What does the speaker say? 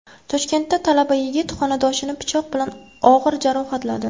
Toshkentda talaba yigit xonadoshini pichoq bilan og‘ir jarohatladi.